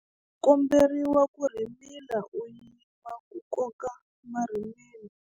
U komberiwa ku rhimila u yima ku koka marhimila.